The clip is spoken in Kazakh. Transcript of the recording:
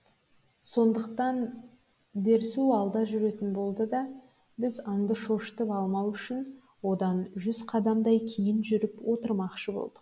сондықтан дерсу алда жүретін болды да біз аңды шошытып алмау үшін одан жүз қадамдай кейін жүріп отырмақшы болдық